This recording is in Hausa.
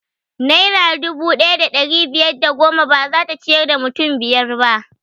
Naira dubu ɗaya da ɗari biyar da goma bazata ciyar da mutum biyar ba